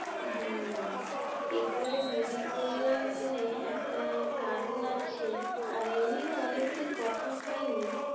হ্যাঁ কি করে মনে করলাম মানে একটা কারণ আছে আর এমনিও অনেকদিন কথা হয়নি